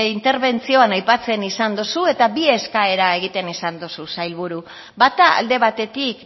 interbentzioan aipatzen izan dozu eta bi eskaera egiten izan duzu sailburu bata alde batetik